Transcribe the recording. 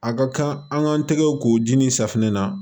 A ka kan an k'an tɛgɛw k'u dimi safinɛ na